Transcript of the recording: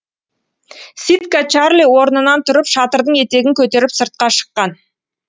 ситка чарли орнынан тұрып шатырдың етегін көтеріп сыртқа шыққан